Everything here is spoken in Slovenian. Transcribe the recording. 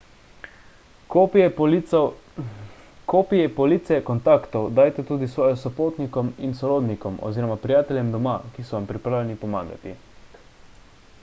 kopije police/kontaktov dajte tudi svoji sopotnikom in sorodnikom oziroma prijateljem doma ki so vam pripravljeni pomagati